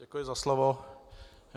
Děkuji za slovo.